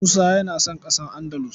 Musa yana son ƙasa Andalus.